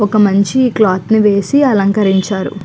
ఒక మంచి క్లాత్ ని వేసి అలకరించారు.